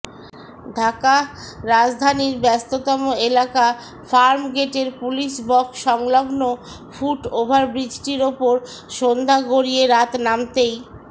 ঢাকাঃ রাজধানীর ব্যস্ততম এলাকা ফার্মগেটের পুলিশবক্স সংলগ্ন ফুটওভার ব্রিজটির ওপর সন্ধ্যা গড়িয়ে রাত নামতেই